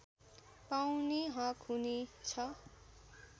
पाउने हक हुने छ